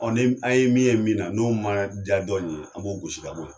Ɔ a ye min ye min na n'o ma diya dɔ in ye an b'o gosi ka bɔ yen